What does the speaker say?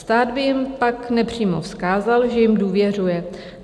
Stát by jim pak nepřímo vzkázal, že jim důvěřuje.